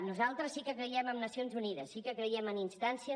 nosaltres sí que creiem en nacions unides sí que creiem en instàncies